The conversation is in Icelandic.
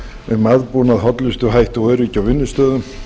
um aðbúnað hollustuhætti og öryggi á vinnustöðum